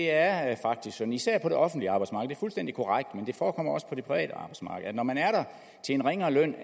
er sådan især på det offentlige arbejdsmarked det er fuldstændig korrekt men det forekommer også på det private arbejdsmarked at når man er der til en ringere løn